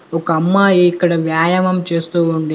ఒక అమ్మాయి ఇక్కడ వ్యాయామం చేస్తూ ఉంది.